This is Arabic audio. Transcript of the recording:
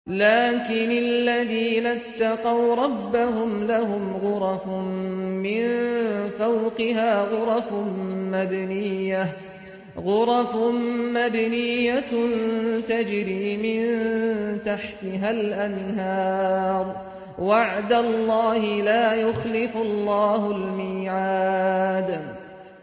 لَٰكِنِ الَّذِينَ اتَّقَوْا رَبَّهُمْ لَهُمْ غُرَفٌ مِّن فَوْقِهَا غُرَفٌ مَّبْنِيَّةٌ تَجْرِي مِن تَحْتِهَا الْأَنْهَارُ ۖ وَعْدَ اللَّهِ ۖ لَا يُخْلِفُ اللَّهُ الْمِيعَادَ